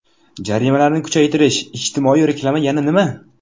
Jarimalarni kuchaytirish, ijtimoiy reklama, yana nima?